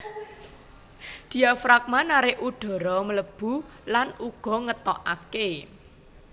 Diafragma narik udhara mlebu lan uga ngetokaké